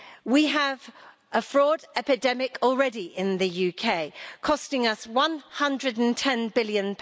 We have a fraud epidemic already in the UK costing us GBP 110 billion.